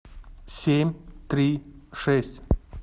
семь три шесть